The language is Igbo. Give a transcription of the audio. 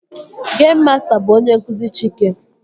Geim masta bụ onye nkụzi Chike